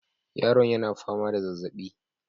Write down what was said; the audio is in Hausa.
Yaron yana fama da zazaɓi